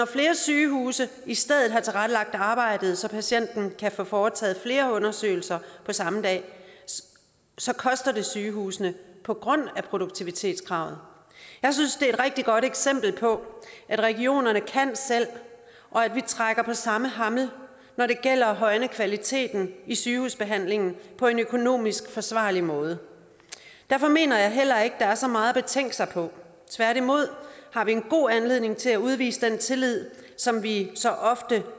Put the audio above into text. flere sygehuse i stedet har tilrettelagt arbejdet så patienten kan få foretaget flere undersøgelser på samme dag så koster det sygehusene på grund af produktivitetskravet jeg synes det er et rigtig godt eksempel på at regionerne kan selv og at vi trækker på samme hammel når det gælder at højne kvaliteten i sygehusbehandlingen på en økonomisk forsvarlig måde derfor mener jeg heller ikke der er så meget at betænke sig på tværtimod har vi en god anledning til at udvise den tillid som vi så ofte